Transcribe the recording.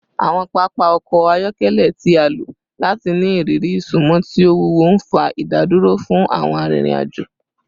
Awọn papa ọkọ ayọkẹlẹ ti a lo lati ni iriri isunmọ ti o wuwo, nfa idaduro fun awọn arinrin-ajo